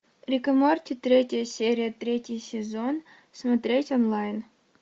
рик и морти третья серия третий сезон смотреть онлайн